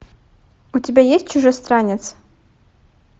у тебя есть чужестранец